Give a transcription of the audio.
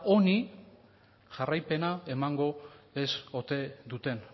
honi jarraipena emango ez ote duten